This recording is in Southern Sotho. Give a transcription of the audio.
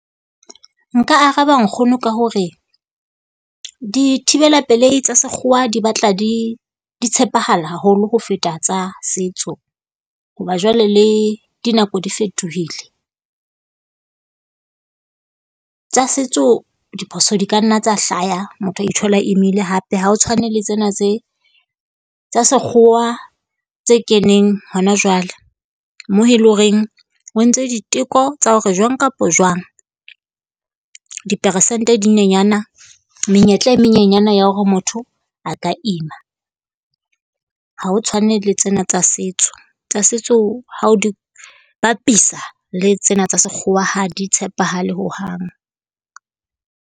Nka araba nkgono ka hore dithibelapelehi tsa sekgowa di batla di di tshepahala haholo ho feta tsa setso, hoba jwale le dinako di fetohile. Tsa setso diphoso di ka nna tsa hlaya motho a ithola a imile hape. Ha o tshwane le tsena tse tsa sekgowa tse keneng hona jwale, mo he le ho reng ho entswe diteko tsa hore jwang kapo jwang diperesente di nyenyana, menyetla e menyenyane ya hore motho a ka ima. Ha ho tshwane le tsena tsa setso. Tsa setso ha o di bapisa le tsena tsa Sekgowa ha di tshepahale hohang.